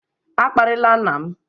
A kparịla nna m!